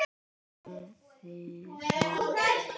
Faðir minn kær.